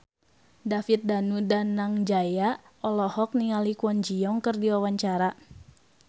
David Danu Danangjaya olohok ningali Kwon Ji Yong keur diwawancara